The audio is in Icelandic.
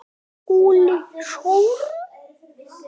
SKÚLI: Sóru?